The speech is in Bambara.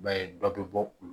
I b'a ye dɔ bɛ bɔ u